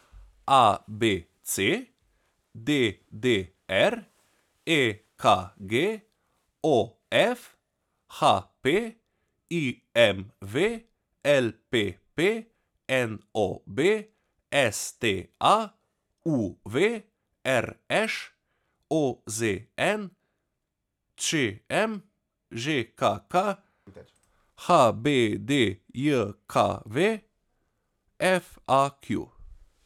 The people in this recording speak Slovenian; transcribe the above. A B C; D D R; E K G; O F; H P; I M V; L P P; N O B; S T A; U V; R Š; O Z N; Č M; Ž K K; H B D J K V; F A Q.